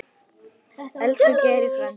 Elsku Geiri frændi.